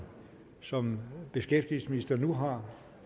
som beskæftigelsesministeren nu har